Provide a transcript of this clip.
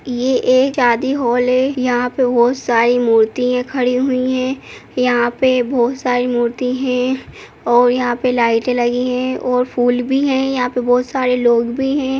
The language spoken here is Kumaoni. ये एक शादी हॉल है यहाँ पे बहोत सारी मूर्तिया खड़ी हुई है यहाँ पे बहोत सारी मूर्ति हैं और यहाँ पे लाइटे लगी है और फूल भी है यहाँ पे बहोत सारे लोग भी हैं।